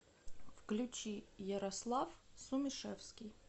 включи ярослав сумишевский